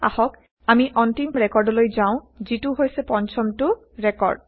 আহক আমি অন্তিম ৰেকৰ্ডলৈ যাওঁ যিটো হৈছে পঞ্চমটো ৰেকৰ্ড